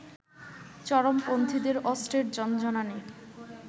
চরমপন্থীদের অস্ত্রের ঝনঝনানি